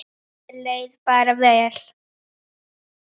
Mér leið bara vel.